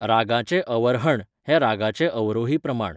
रागाचें अवर्हण हें रागाचें अवरोही प्रमाण.